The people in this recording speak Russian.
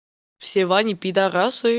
все вани пидорасы